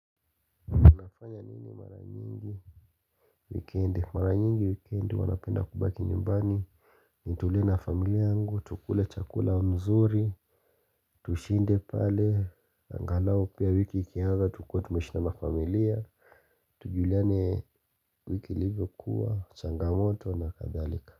Nafanya nini mara nyingi wikendi mara nyingi wikendi huwa napenda kubaki nyumbani nitulie na familia yangu tukule chakula mzuri tushinde pale angalau pia wiki ikianza tukue tumeishi na mafamilia tujuliane wiki ilivyokuwa changamoto na kadhalika.